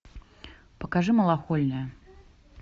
покажи малахольная